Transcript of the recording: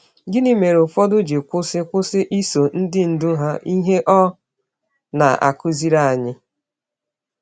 Gịnị mere ụfọdụ ji kwụsị kwụsị iso ndị ndú ha, ihe ọ na-akụziri anyị?